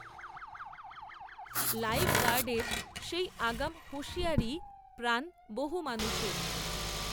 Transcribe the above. লাইফগার্ডের সেই আগাম হুঁশিয়ারিই, প্রাণ, বহু মানুষের